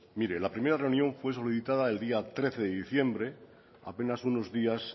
mire la primera reunión fue solicitada el día trece de diciembre apenas unos días